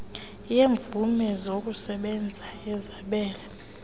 yeemvume zokusebenza ngezabelo